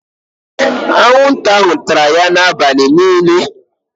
Anwụnta ahụ tara ya n'abalị niile.